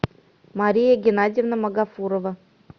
мария геннадьевна магафурова